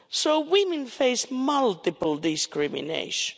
So women face multiple discrimination.